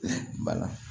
Bala